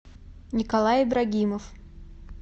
николай ибрагимов